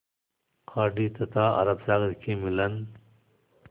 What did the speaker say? खाड़ी तथा अरब सागर के मिलन